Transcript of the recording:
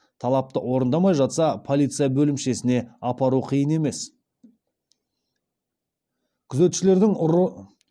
талапты орындамай жатса полиция бөлімшесіне апару қиын емес